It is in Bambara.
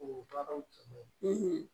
O tɔgɔ